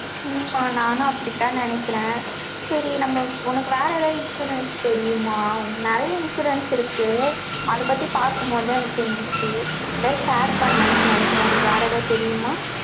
உம் மா, நானும் அப்படித்தான் நினைக்கிறேன். சரி, நம்ம, உனக்கு வேற எதாவது, insurance தெரியுமா? நிறைய insurance இருக்கு அதைப் பத்தி பார்க்கும் போதுதான், எனக்கு தெரிஞ்சிச்சு. அதான் share பண்ணலாம்ன்னு நினைக்கிறேன். உனக்கு வேற ஏதாவது தெரியுமா?